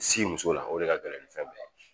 Si muso la o de ka gɛlɛn ni fɛn bɛ ye.